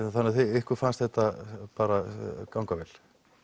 ykkur fannst þetta bara ganga vel